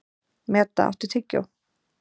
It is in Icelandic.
Meda, áttu tyggjó?